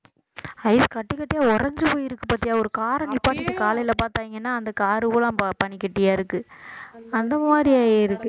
ice கட்டி கட்டியா உறைஞ்சு போயிருக்கு பாத்தியா ஒரு car அ நிப்பாட்டிட்டு காலையில பாத்தீங்கன்னா அந்த car உ பூராம் ப~ பனிக்கட்டியா இருக்கு அந்த மாதிரி ஆயிருக்கு